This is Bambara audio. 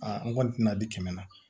Aa n kɔni tɛna di kɛmɛ na